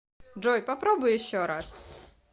джой попробуй еще раз